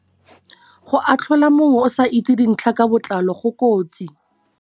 Go atlhola mongwe o sa itse dintlha ka botlalo go kotsi.